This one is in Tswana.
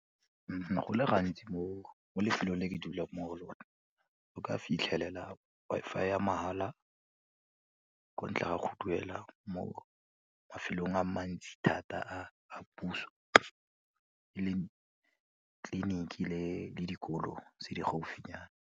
Go le gantsi mo lefelong le ke dulang mo go lone, o ka fitlhelela Wi-Fi ya mahala ko ntle ga go duela mo mafelong a mantsi thata a a puso e leng tliliniki le le dikolo tse di gaufinyana.